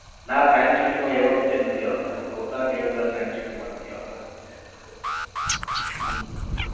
ના science city માં એવા picture નથી આવતા અવતાર ને એવા બધા science city માં નથી આવતા હમ